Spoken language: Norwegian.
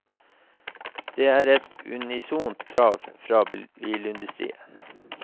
Det er et unisont krav fra bilindustrien.